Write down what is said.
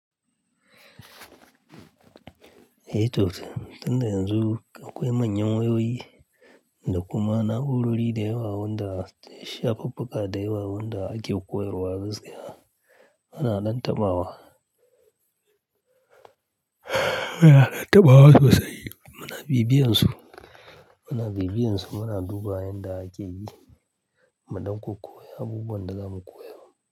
Eh toh, tun da yanzu akwai manyan wayoyi da kuma na'urori da yawa wanda shafuffuka da yawa wanda ake koyarwa gaskiya. Muna lantama wa, muna taɓa wa sosai. Muna bibiyansu, muna bibiyansu muna duba inda ake yi, mu dauko koya abubuwan da za mu koya.